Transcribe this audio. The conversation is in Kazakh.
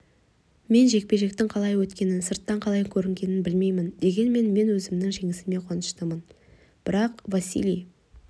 мен жекпе-жектің қалай өткенін сыртынан қалай көрінгенін білмеймін дегенмен мен өзімнің жеңісіме қуаныштымын бірақ василий